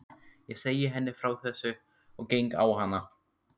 Ég segi henni frá þessu og geng á hana.